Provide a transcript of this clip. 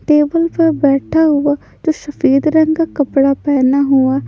table पर बैठा हुआ जो शफेद रंग का कपड़ा पहना हुआ--